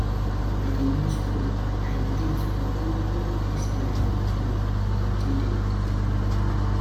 Na wen I dey go skool I meet all dis my paddy dem.